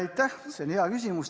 Aitäh, see on hea küsimus.